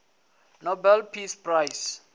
nobel peace prize